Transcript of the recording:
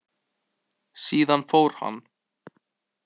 Síðan fór hann.